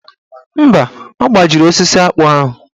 Mba, ọ gbajiri osisi akpụ ahụ.